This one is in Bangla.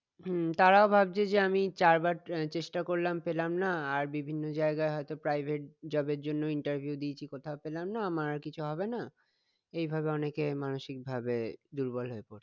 হম তারাও ভাবছে যে আমি চারবার চেষ্টা করলাম পেলাম না আর বিভিন্ন জায়গায় হয়ত private job এর জন্য interview দিয়েছি কোথাও পেলাম না আমার আর কিছু হবেনা এইভাবে অনেকে মানসিক ভাবে দুর্বল হয়ে পড়ছে